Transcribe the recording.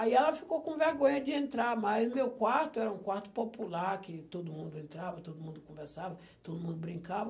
Aí ela ficou com vergonha de entrar, mas o meu quarto era um quarto popular, que todo mundo entrava, todo mundo conversava, todo mundo brincava.